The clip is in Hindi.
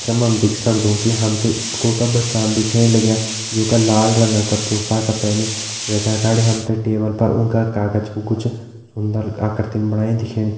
चित्र मा हम देखि सक्दु कि हम ते एक स्कूल का बच्चान दिखेण लग्यां जुं का लाल रंगा का पोशाका पैनि वैका अगाड़ी हम ते टेबल पर उंका कागज कु कुछ सुन्दर आकर्ति बणाईं दिखेणी।